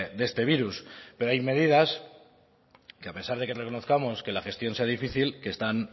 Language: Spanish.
de este virus pero hay medidas que a pesar de que reconozcamos que la gestión sea difícil que están